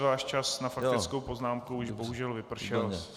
Váš čas na faktickou poznámku už bohužel vypršel.